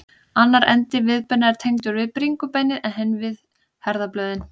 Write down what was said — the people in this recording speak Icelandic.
Annar endi viðbeina er tengdur við bringubeinið en hinn við herðablöðin.